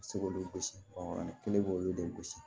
Se k'olu gosi kelen b'olu de gosi